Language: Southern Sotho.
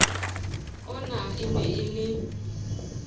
ona e ne e le